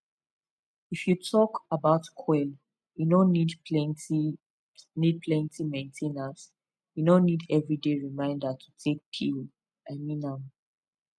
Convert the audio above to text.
if you talk about coil e no need plenty need plenty main ten ance e no need every day reminder to take pill i mean am